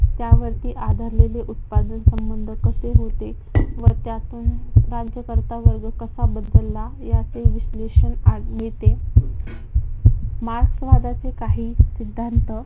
त्यावरती आधारलेले उत्पादन संबंध कसे होते? व त्यातून राज्यकर्ता वर्ग कसा बदलला? याचे विश्लेषण आज मिळते. मार्क्सवादाची काही सिद्धांत